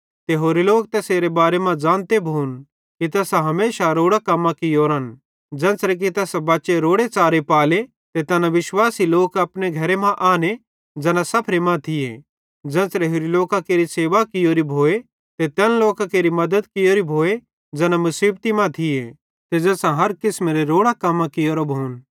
ते होरे लोक तैसेरे बारे मां ज़ानते भोन कि तैसां हमेशा रोड़ां कम्मां कियोरन ज़ेन्च़रे कि तैसां बच्चे रोड़े च़ारे पाले ते तैना विश्वासी लोक अपने घरे मां आने ज़ैना सफरे मां थिये ज़ेन्च़रे होरि लोकां केरि सेवा कियोरी भोए ते तैन लोकां केरि मद्दत कियोरी भोए ज़ैना मुसीबती मां थिये ते ज़ैसां हर किसमेरां रोड़ां कम्मां कियोरां भोन